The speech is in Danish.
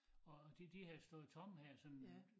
Og de de havde stået tomme her sådan